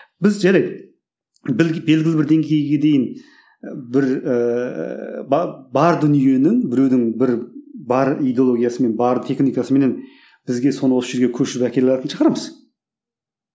біз жарайды белгілі бір деңгейге дейін бір ііі бар бар дүниенің біреудің бір бар идеологиясымен бар техникасыменен бізге соны осы жерге көшіріп әкеле алатын шығармыз